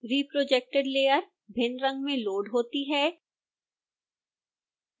reprojected layer भिन्न रंग में लोड़ होती है